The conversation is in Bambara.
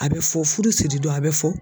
A bɛ fɔ furu siri don a bɛ fɔ.